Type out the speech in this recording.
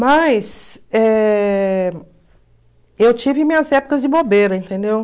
Mas... Eh... Eu tive minhas épocas de bobeira, entendeu?